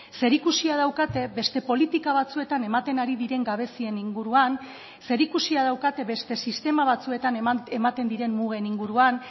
zerikusia daukate beste politika batzuetan ematen ari diren gabezien inguruan zerikusia daukate beste sistema batzuetan ematen diren mugen inguruan